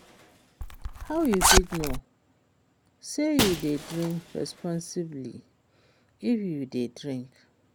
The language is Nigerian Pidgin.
How you fit know say you dey drink responsibly if you dey drink?